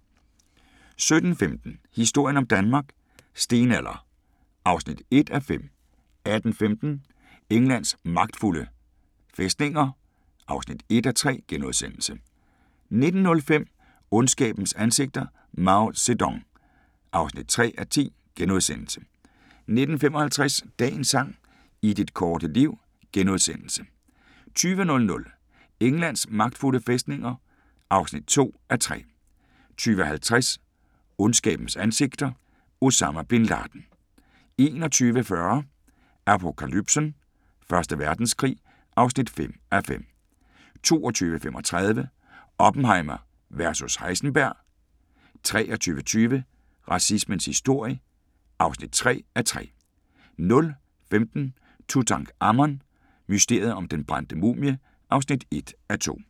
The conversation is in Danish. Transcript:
17:15: Historien om Danmark: Stenalder (1:5) 18:15: Englands magtfulde fæstninger (1:3)* 19:05: Ondskabens ansigter – Mao Zedong (3:10)* 19:55: Dagens sang: I dit korte liv * 20:00: Englands magtfulde fæstninger (2:3) 20:50: Ondskabens ansigter – Osama bin Laden 21:40: Apokalypsen: Første Verdenskrig (5:5) 22:35: Genierne: Oppenheimer vs Heisenberg 23:20: Racismens historie (3:3) 00:15: Tutankhamon: Mysteriet om den brændte mumie (1:2)